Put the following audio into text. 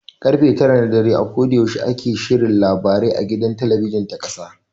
Karfe tara na dare a koda yaushe ana shirin labarai a gidan talabijin ta ƙasa.